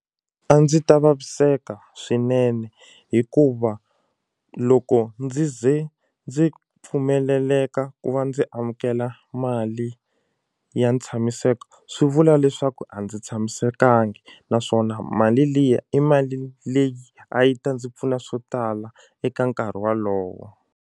A ndzi ta vaviseka swinene hikuva loko ndzi ze ndzi pfumeleleka ku va ndzi amukela mali ya ntshamiseko swi vula leswaku a ndzi tshamisekangi naswona mali liya i mali leyi a yi ta ndzi pfuna swo tala eka nkarhi walowo.